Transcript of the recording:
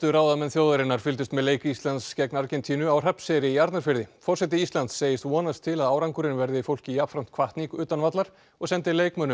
ráðamenn þjóðarinnar fylgdust með leik Íslands Argentínu á Hrafnseyri í Arnarfirði forseti Íslands segist vonast til að árangurinn verði fólki jafnframt hvatning utan vallar og sendir leikmönnum